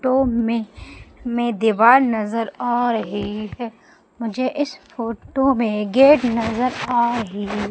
to मे मे दीवार नजर आ रही है मुझे इस फोटो मे गेट नजर आ रही--